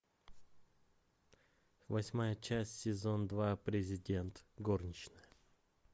восьмая часть сезон два президент горничная